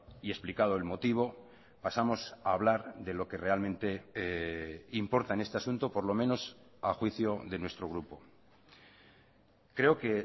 y explicado el motivo pasamos a hablar de lo que realmente importa en este asunto por lo menos a juicio de nuestro grupo creo que